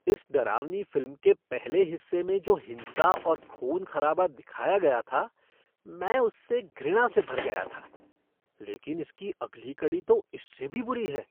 इस डरावनी फ़िल्म के पहले हिस्से में जो हिंसा और खून खराबा दिखाया गया था मैं उससे घृणा से भर गया था, लेकिन इसकी अगली कड़ी में तो इससे भी बुरी है।